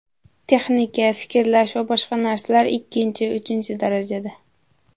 Texnika, fikrlash va boshqa narsalar ikkinchi, uchinchi darajada.